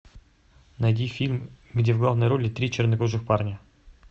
найди фильм где в главной роли три чернокожих парня